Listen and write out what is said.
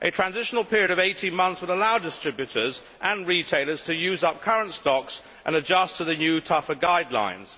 A transitional period of 18 months would allow distributors and retailers to use up current stocks and adjust to the new, tougher guidelines.